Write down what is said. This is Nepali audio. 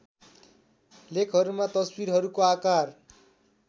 लेखहरूमा तस्वीरहरूको आकार